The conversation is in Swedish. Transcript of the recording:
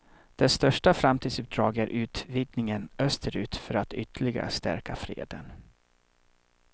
Dess största framtidsuppdrag är utvidgningen österut för att ytterligare stärka freden.